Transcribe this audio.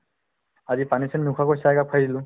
আজি পানী চানী নোখোৱাকৈ চাহ একাপ খাই দিলো